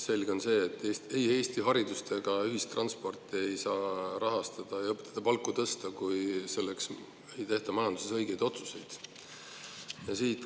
Selge on see, et ei Eesti haridust ega ühistransporti ei saa rahastada ja õpetajate palku tõsta, kui majanduses ei tehta õigeid otsuseid.